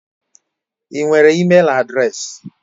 Ị nwere ịmel adreesị?